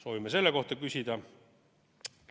Soovime selle kohta küsida.